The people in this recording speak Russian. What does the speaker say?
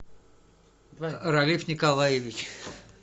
ралиф николаевич